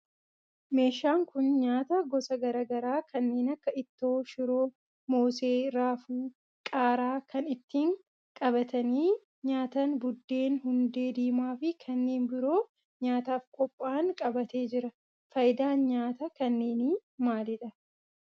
Meeshaan kun nyaataa gosa garaa garaa kanneen akka ittoo shiroo, moosee, raafuu, qaaraa, kan ittiin qabatanii nyaatan buddeen, hundeee diimaa fi kanneen biroo nyaataf qophaa'an qabatee jira. Faayidaan nyaata kanneeni maalidha?